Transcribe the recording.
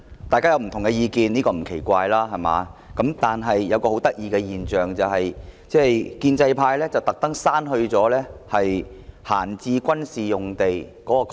大家有不同意見，這並不奇怪，但一個很有趣的現象是，建制派故意把"閒置軍事用地"刪去。